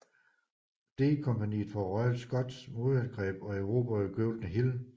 D kompagniet fra Royal Scots modangreb og erobrede Golden Hill